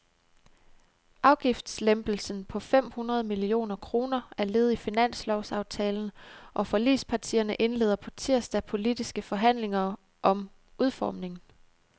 Afgiftslempelsen på fem hundrede millioner kroner er led i finanslovsaftalen, og forligspartierne indleder på tirsdag politiske forhandlinger om udformningen.